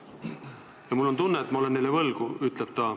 Ja mul on tunne, et ma olen neile võlgu, ütleb ta.